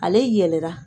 Ale yɛlɛla